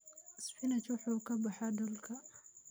Spinach wuxuu ka baxaa dhulka.